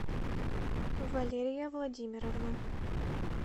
валерия владимировна